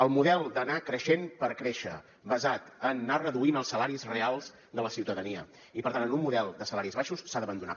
el model d’anar creixent per créixer basat en anar reduint els salaris reals de la ciutadania i per tant en un model de salaris baixos s’ha d’abandonar